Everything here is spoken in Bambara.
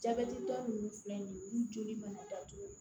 Jabɛtitɔ ninnu filɛ nin ye olu joli mana datugu